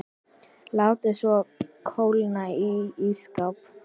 Látið svo kólna í ísskáp.